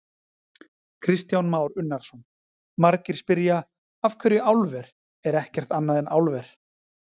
Kristján Már Unnarsson: Margir spyrja: Af hverju álver, er ekkert annað en álver?